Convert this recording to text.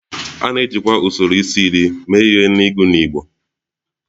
A na-ejikwa usoro isi-iri mee ihe n'ịgụ n'igbo